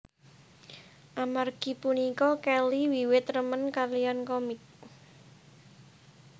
Amargi punika Kelly wiwit remen kaliyan komik